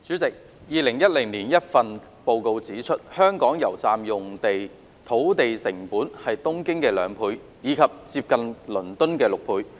代理主席 ，2010 年一份報告指出，香港油站用地土地成本是東京的兩倍，以及接近倫敦的六倍。